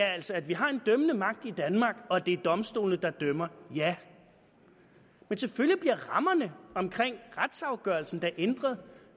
altså at vi har en dømmende magt i danmark og at det er domstolene der dømmer ja men selvfølgelig bliver rammerne omkring retsafgørelsen da ændret